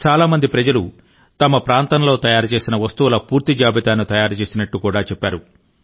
చాలా మంది ప్రజలు తమ ప్రాంతంలో తయారు చేసిన వస్తువుల పూర్తి జాబితాను తయారు చేసినట్టు కూడా చెప్పారు